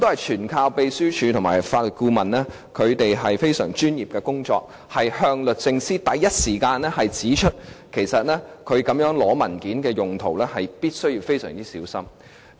全賴秘書處和法律顧問非常專業的工作，馬上向律政司指出其實索取文件作這樣的用途，必須非常小心。